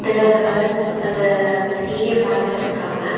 இதுல ஒரு ஆள் அந்த சீஏ பாத்துட்ருக்காங்க.